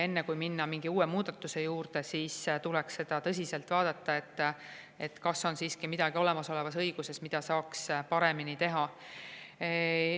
Enne, kui minna mingi uue muudatuse juurde, tuleks seda tõsiselt vaadata – ehk on siiski midagi olemasolevas õiguses, mida saaks paremini teha.